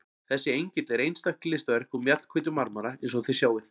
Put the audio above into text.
Þessi engill er einstakt listaverk úr mjallhvítum marmara eins og þið sjáið.